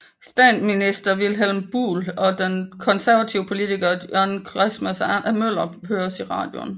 Statsminister Vilhelm Buhl og den konservative politiker John Christmas Møller høres i radioen